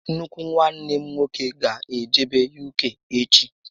Nnukwu nwanne m nwoke gá ejebe UK echi